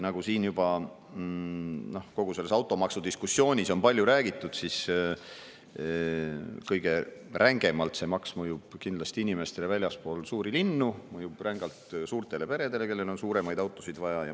Nagu siin juba kogu selles automaksu diskussioonis on palju räägitud, mõjub see maks kõige rängemalt inimestele väljaspool suuri linnu ja mõjub ka rängalt suurtele peredele, kellel on suuremaid autosid vaja.